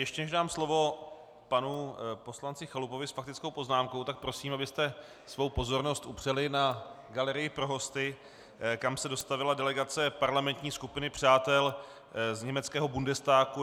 Ještě než dám slovo panu poslanci Chalupovi s faktickou poznámkou, tak prosím, abyste svou pozornost upřeli na galerii pro hosty, kam se dostavila delegace parlamentní skupiny přátel z německého Bundestagu.